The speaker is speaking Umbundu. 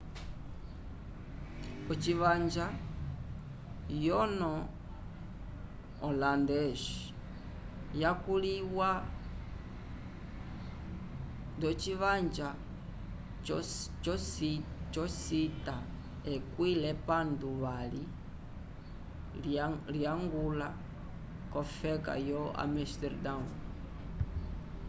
ocivanja yono holandês: yakuliwa docivanja yo cita ekwĩ l’epandu vali lyangula kofeka yo amesterdão